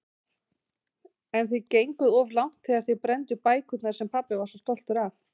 En þið genguð of langt þegar þið brennduð bækurnar sem pabbi var svo stoltur af.